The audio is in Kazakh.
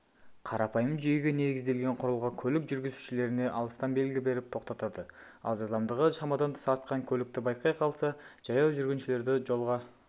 қарапайым жүйеге негізделген құрылғы көлік жүргізушілеріне алыстан белгі беріп тоқтатады ал жылдамдығы шамадан тыс артқан көлікті байқай қалса жаяу жүргіншілерді жолға